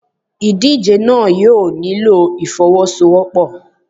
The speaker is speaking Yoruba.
Ìdíje náà yóò nílò ìfọ́wọ́sọwọ́pọ̀.